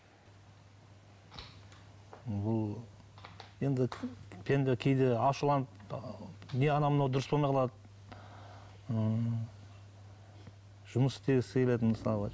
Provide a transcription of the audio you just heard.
бұл енді кейде ашуланып не анау мынау дұрыс болмай қалады ы жұмыс істегісі келеді мысалы